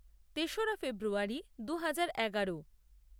তেসরা ফেব্রুয়ারী দু হাজার এগারো